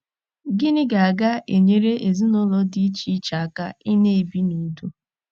Gịnị ga ga - enyere ezinụlọ dị iche iche aka ịna - ebi n’udo?